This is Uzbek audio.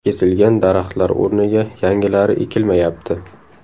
Kesilgan daraxtlar o‘rniga yangilari ekilmayapti.